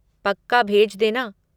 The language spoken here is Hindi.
पक्का भेज देना।